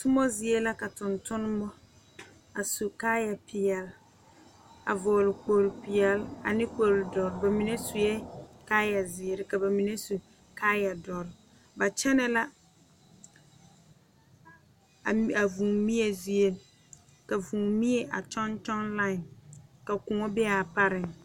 Tuma zie la ka tontuma a su kaaya peɛle a vɔgle kpol peɛle ane kpol doɔre bamine suɛ kaaya ziiri ka bamine su kaaya doɔre ba kyɛne la a vūū mie zie a vūū mie a kyoŋ kyoŋ lae ka kõɔ be a pare.